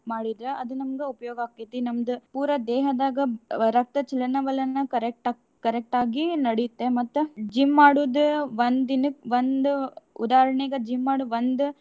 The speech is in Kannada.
ಮಾ~ ಮಾಡಿದ್ರ ಅದು ನಮ್ಗ ಉಪಯೋಗ ಆಕ್ಕೇತಿ. ನಮ್ದ ಪೂರ ದೇಹದಾಗ ರಕ್ತ ಚಲನ ವಲನ correct correct ಆಗಿ ನಡೆಯುತ್ತೆ. ಮತ್ತ gym ಮಾಡುದ ಒಂದ ದಿನಕ್ಕ ಒಂದು ಉದಾಹರಣೆಗ gym ಮಾಡಿ ಬಂದ್.